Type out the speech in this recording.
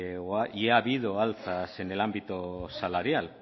y ha habido alzas en el ámbito salarial